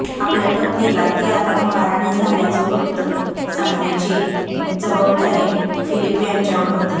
आपल्या पत्नीला ती आता महाराणी झाल्याचं वृत्त सांगण्याची जबाबदारी फिलीप यांच्यावर होती